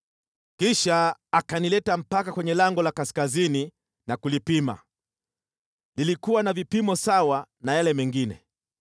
Kisha akanileta mpaka kwenye lango la kaskazini na kulipima. Lilikuwa na vipimo sawa na yale mengine,